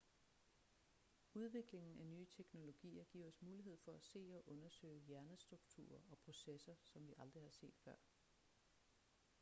udviklingen af nye teknologier giver os mulighed for at se og undersøge hjernestrukturer og processer som vi aldrig har set før